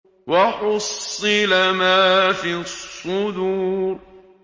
وَحُصِّلَ مَا فِي الصُّدُورِ